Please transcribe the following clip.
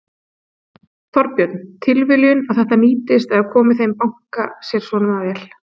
Þorbjörn: Tilviljun að þetta nýtist eða komi þeim banka sér svona vel?